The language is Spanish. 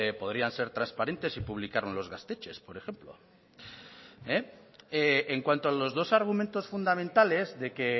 podrían ser trasparentes y publicar en los gaztetxez por ejemplo en cuanto a los dos argumentos fundamentales de que